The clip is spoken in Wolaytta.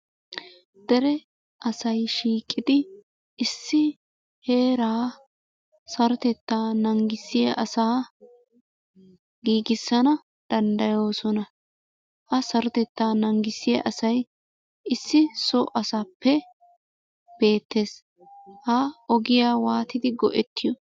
Dere asay shiiqidi issi heeraa sarotettaa nangissiya asaa giigissana danddayoosona. Ha sarotettaa nangissiya asay issi so asappe beettes. Ha ogiyaa waatidi go"ettiyo?